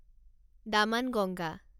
Damanganga